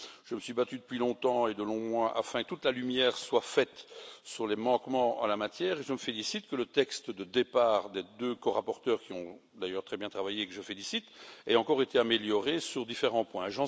Je me suis battu depuis longtemps et de longs mois afin que toute la lumière soit faite sur les manquements en la matière, et je me félicite que le texte de départ des deux corapporteurs, qui ont d'ailleurs très bien travaillé et que je félicite, ait encore été amélioré sur différents points.